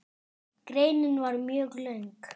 Greinin var mjög löng.